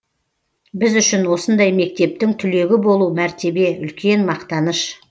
біз үшін осындай мектептің түлегі болу мәртебе үлкен мақтаныш